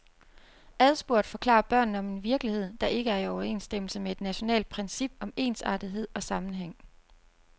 Adspurgt forklarer børnene om en virkelighed, der ikke er i overensstemmelse med et nationalt princip om ensartethed og sammenhæng.